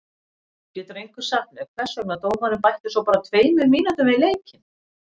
Getur einhver sagt mér hvers vegna dómarinn bætti svo bara tveimur mínútum við leikinn?